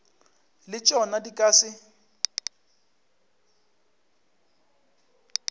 le tšona di ka se